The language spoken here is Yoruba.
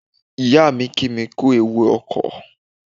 Ìyáà mi kí mi kú ewu ọkọ̀.